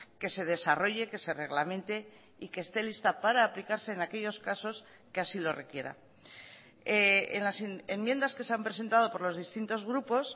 que se desarrolle que se reglamente y que esté lista para aplicarse en aquellos casos que así lo requiera en las enmiendas que se han presentado por los distintos grupos